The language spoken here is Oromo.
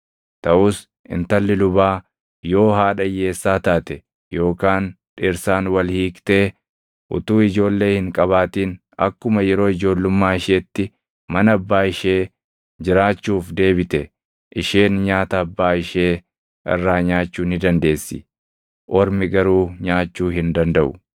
Taʼus intalli lubaa yoo haadha hiyyeessaa taate yookaan dhirsaan wal hiiktee utuu ijoollee hin qabaatin akkuma yeroo ijoollummaa isheetti mana abbaa ishee jiraachuuf deebite, isheen nyaata abbaa ishee irraa nyaachuu ni dandeessi. Ormi garuu nyaachuu hin dandaʼu.